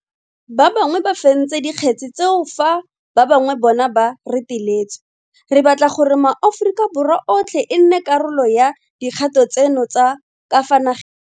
Ba bangwe ba fentse dikgetse tseo fa ba bangwe bona ba reteletswe. Re batla gore maAforika Borwa otlhe e nne karolo ya dikgato tseno tsa ka fa nageng.